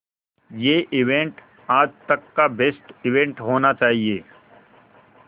ये इवेंट आज तक का बेस्ट इवेंट होना चाहिए